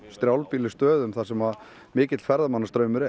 strjálbýlu stöðum þar sem mikill ferðamannastraumur